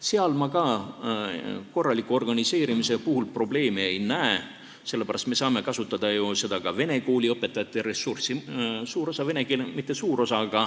Seal ma korraliku organiseerimise puhul probleemi ei näe, sest me saame kasutada ka vene kooli õpetajate ressurssi.